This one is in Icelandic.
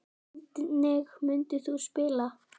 Hvernig myndir þú spila?